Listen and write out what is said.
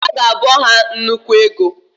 Aga abọ ha nnukwu ego.